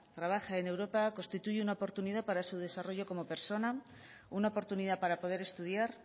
trabaje en europa constituye una oportunidad para su desarrollo como persona una oportunidad para poder estudiar